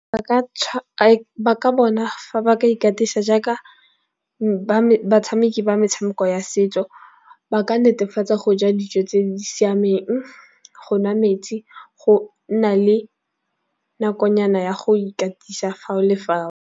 Ba ka bona fa ba ka ikatisa jaaka batshameki ba metshameko ya setso ba ka netefatsa go ja dijo tse di siameng, go nwa metsi, go nna le nakonyana ya go ikatisa fao le fao.